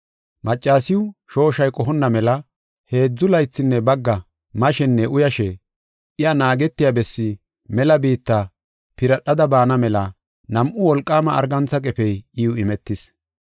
Maccasiw shooshay qohonna mela heedzu laythinne bagga mashenne uyashe iya naagetiya bessi mela biitta piradhada baana mela nam7u wolqaama argantha qefey iw imetis.